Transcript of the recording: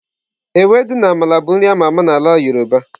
Ewedu na Amala bụ nri a ma ama na ala yoruba.